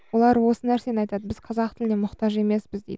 олар осы нәрсені айтады біз қазақ тіліне мұқтаж емеспіз дейді